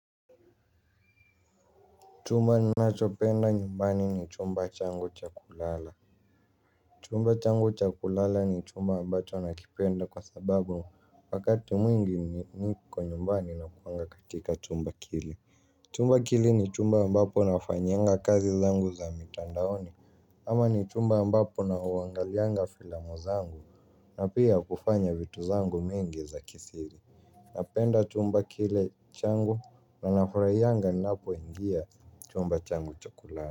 Chumba ninachopenda nyumbani ni chumba changu cha kulala. Chumba changu cha kulala ni chumba ambacho nakipenda kwa sababu wakati mwingi niko nyumbani nakuanga katika chumba kile. Chumba kile ni chumba ambapo nafanyianga kazi zangu za mitandaoni. Ama ni chumba ambapo nauangalianga filamu zangu na pia kufanya vitu zangu mingi za kisiri. Napenda chumba kile changu na nafurahianga ninapoingia chumba changu cha kulala.